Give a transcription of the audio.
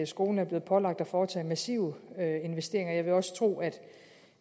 skolen er blevet pålagt at foretage massive investeringer jeg vil også tro at